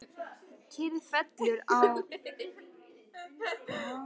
Kyrrð fellur á og ræningjarnir hverfa.